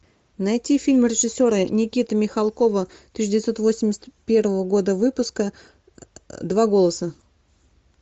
найти фильм режиссера никиты михалкова тысяча девятьсот восемьдесят первого года выпуска два голоса